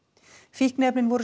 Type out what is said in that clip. fíkniefnin voru